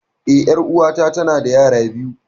Eh, ƴar'uwata tanada yara biyu.